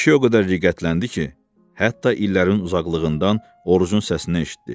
Kişi o qədər riqqətləndi ki, hətta illərin uzaqlığından Orucun səsini eşitdi.